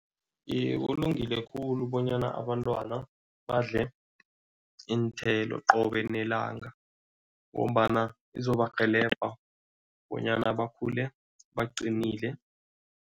Iye, kulungile khulu bonyana abantwana badle iinthelo qobe nelanga ngombana zizobarhelebha bonyana bakhule baqinile.